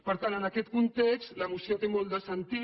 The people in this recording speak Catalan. per tant en aquest context la moció té molt de sentit